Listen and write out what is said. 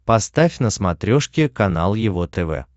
поставь на смотрешке канал его тв